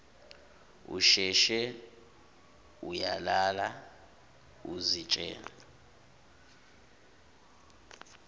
usheshe uyalala uzitshele